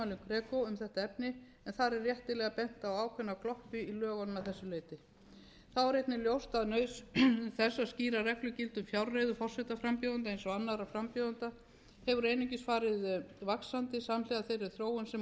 er meðal annars brugðist við tilmælum greco um þetta efni en þar er réttilega bent á ákveðna gloppu í lögunum að þessu leyti þá er einnig ljóst að þessar skýrar reglur gilda um fjárreiðurforsetaframbjóðenda eins og annarra frambjóðenda hefur einungis farið vaxandi samhliða þeirri þróun sem orðið hefur á undanförnum